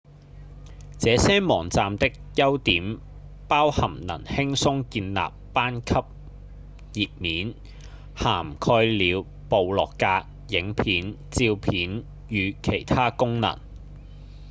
這些網站的優點包含能輕鬆建立班級頁面涵蓋了部落格、影片、照片與其他功能